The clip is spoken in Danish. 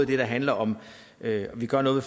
det der handler om at vi gør noget